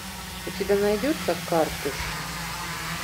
у тебя найдется картуш